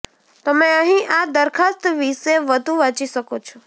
તમે અહીં આ દરખાસ્ત વિશે વધુ વાંચી શકો છો